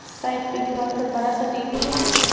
Side के दीवार पर बड़ा सा टीवी है।